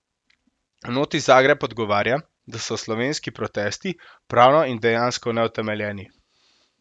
V noti Zagreb odgovarja, da so slovenski protesti, pravno in dejansko, neutemeljeni.